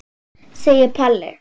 segir Palli.